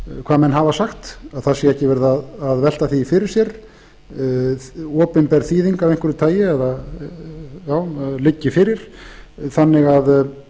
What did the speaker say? hvað menn hafa sagt að það sé ekki verið að velta því fyrir sér opinber þýðing af einhverju tagi liggi fyrir þannig að